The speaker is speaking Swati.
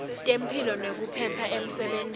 temphilo nekuphepha emsebentini